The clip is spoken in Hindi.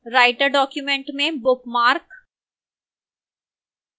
writer document में bookmark